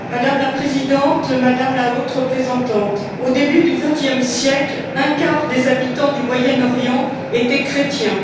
Madame la Présidente, Madame la Haute représentante, au début du vingtième siècle, un quart des habitants du Moyen Orient étaient chrétiens.